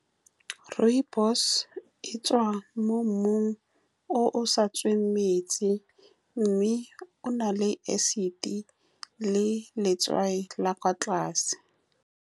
Rooibos-e e tswa mo mmung o o sa tsweng metsi, mme o na le acid le letswai la kwa tlase.